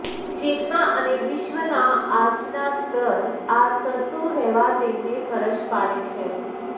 ચેતના અને વિશ્વના આજના સ્તર આ શરતો રહેવા તેમને ફરજ પાડે છે